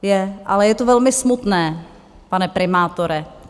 Ale je to velmi smutné, pane primátore.